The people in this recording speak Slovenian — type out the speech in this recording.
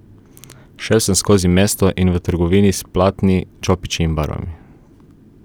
Šel sem skozi mesto in v trgovino s platni, čopiči in barvami.